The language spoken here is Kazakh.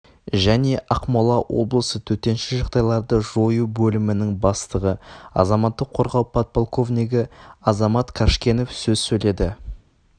және ақмола облысы төтенше жағдайларды жою бөлімінің бастығы азаматтық қорғау подполковнигі азамат қажкенов сөз сөйледі